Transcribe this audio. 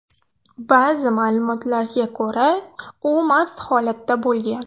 Ba’zi ma’lumotlarga ko‘ra, u mast holatda bo‘lgan.